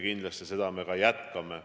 Kindlasti me seda ka jätkame.